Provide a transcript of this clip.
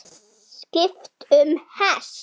Skipt um hest.